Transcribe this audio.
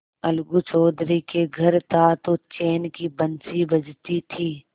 अलगू चौधरी के घर था तो चैन की बंशी बजती थी